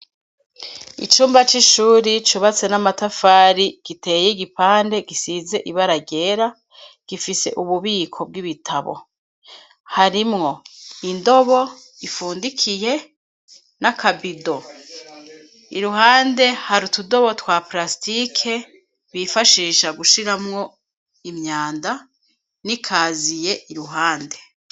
Icumba c'ishuri cubatse n'amatafari giteye igipande gisize ibara ryera gifise ububiko bw'ibitabo harimwo indobo ifundikiye n'akabido iruhande hari utudobo twa prastike bifashisha gushiramwo imyanda n'ikaziye iruhande.